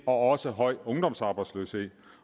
og også høj ungdomsarbejdsløshed